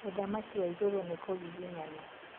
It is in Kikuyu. Ũthamaki wa igũrũ nĩ kũnginginyana